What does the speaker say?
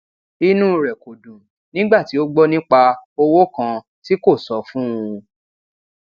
inú rẹ kò dùn nígbà tí ó gbọ nípa owó kan tí kò sọ fún un